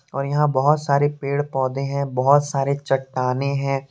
और यहां बहुत सारे पेड़ पौधे हैं बहुत सारे चट्टानें हैं।